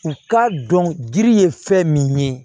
U k'a dɔn diri ye fɛn min ye